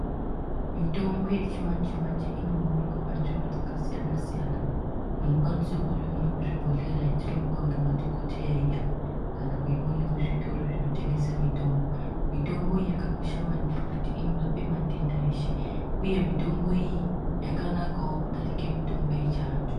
Mitombo yechimanje manje inowanikwa panzvimbo dzakasiyana siyana unokwanisa kuione kuzvibhedhlera yatinopiwa nemadhokodheya iya. Kana kuyione kuzvitoro zvinotengesa mitombo. Mitombo iyi yakakosha maningi kuti inorape matenda eshe uye mitombo iyi yakanakawo kudarika yechiantu